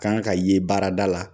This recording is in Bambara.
kan ka ye baarada la